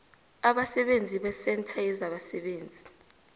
abasebenzi besentha yezabasebenzi